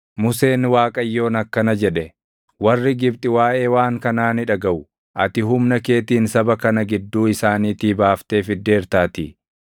Museen Waaqayyoon akkana jedhe; “Warri Gibxi waaʼee waan kanaa ni dhagaʼu! Ati humna keetiin saba kana gidduu isaaniitii baaftee fiddeertaatii.